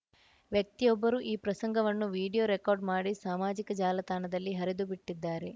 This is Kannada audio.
ವ್ಯಕ್ತಿಯೊಬ್ಬರು ಈ ಪ್ರಸಂಗವನ್ನು ವಿಡಿಯೊ ರೆಕಾರ್ಡ್‌ ಮಾಡಿ ಸಾಮಾಜಿಕ ಜಾಲತಾಣದಲ್ಲಿ ಹರಿದುಬಿಟ್ಟಿದ್ದಾರೆ